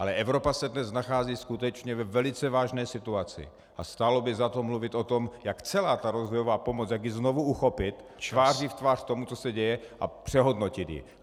Ale Evropa se dnes nachází skutečně ve velice vážné situaci a stálo by za to mluvit o tom, jak celá ta rozvojová pomoc, jak ji znovu uchopit tváří v tvář tomu, co se děje, a přehodnotit ji.